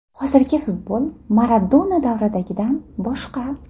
Hozirgi futbol Maradona davridagidan boshqa.